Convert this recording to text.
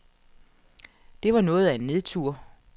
Det var noget af en nedtur.